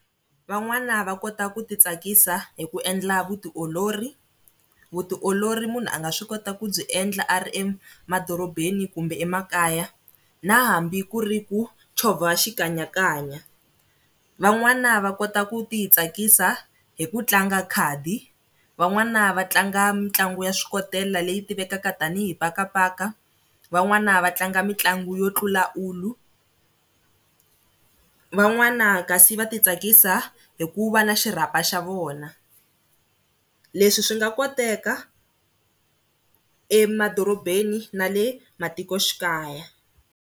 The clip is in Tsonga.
Van'wana va kota ku ti tsakisa hi ku endla vutiolori, vutiolori munhu a nga swi kota ku byi endla a ri emadorobeni kumbe emakaya na hambi ku ri ku chovha xikanyakanya. Van'wana va kota ku ti tsakisa hi ku tlanga khadi van'wana va tlanga mitlangu ya swikotela leyi tivekaka tanihi pakapaka, van'wana va tlanga mitlangu yo tlula ulu, van'wana kasi va ti tsakisa hi ku va na xirhapa xa vona. Leswi swi nga koteka emadorobeni na le matikoxikaya.